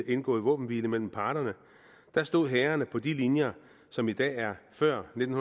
indgået våbenhvile mellem parterne stod hærene på de linjer som i dag er før nitten